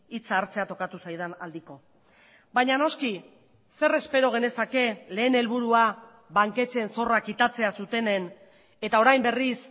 hitza hartzea tokatu zaidan aldiko baina noski zer espero genezake lehen helburua banketxeen zorrak kitatzea zutenen eta orain berriz